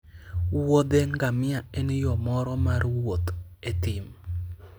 wuodhe ngamia en yo moro mar wuoth e thim